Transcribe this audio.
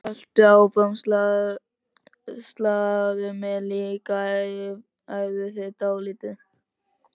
Haltu áfram, sláðu mig líka, æfðu þig dálítið.